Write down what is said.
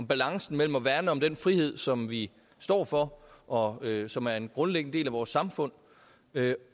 balancen mellem at værne om den frihed som vi står for og som er en grundlæggende del af vores samfund